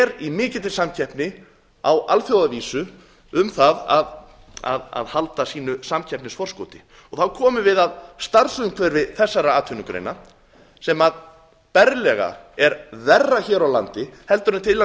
er í mikilli samkeppni á alþjóðavísu um það að halda sínu samkeppnisforskoti þá komum við að starfsumhverfi þessara atvinnugreina sem berlega er verra hér á landi heldur en til að mynda